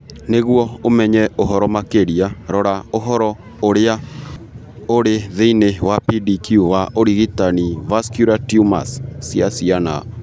Nĩguo ũmenye ũhoro makĩria, rora ũhoro ũrĩa ũrĩ thĩinĩ wa PDQ wa ũrigitani vascular tumors cia ciana .